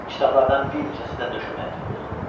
Kitablardan bir neçəsi də döşəməyə töküldü.